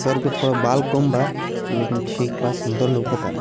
सर पर थोड़ा बाल कम बा लेकिन ठीक बा सुंदर लउकत बाड़े।